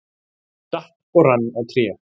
Ég datt og rann á tré.